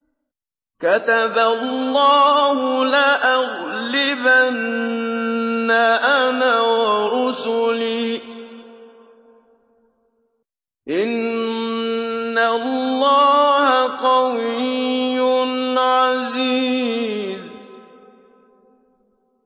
كَتَبَ اللَّهُ لَأَغْلِبَنَّ أَنَا وَرُسُلِي ۚ إِنَّ اللَّهَ قَوِيٌّ عَزِيزٌ